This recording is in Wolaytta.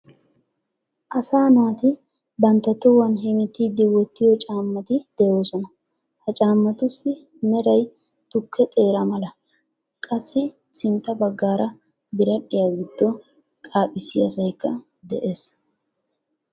Asa naati bantta tohuwan hemettiidi wottiyo caammati de'oosona. Ha cammatussi meray tukke teera mala, qassi sintta baggaara biradhdhiya giddo qaphphiyasaykka de'ees.